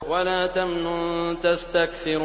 وَلَا تَمْنُن تَسْتَكْثِرُ